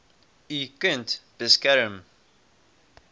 u kind beskerm